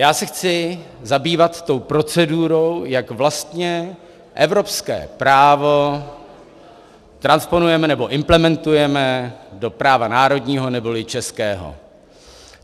Já se chci zabývat tou procedurou, jak vlastně evropské právo transponujeme nebo implementujeme do práva národního neboli českého.